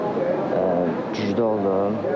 Həm yarış güclü oldu.